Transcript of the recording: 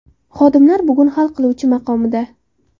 Xodimlar bugun hal qiluvchi maqomida!